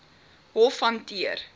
hof hanteer